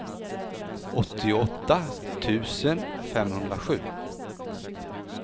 åttioåtta tusen femhundrasju